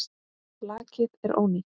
Lakið er ónýtt!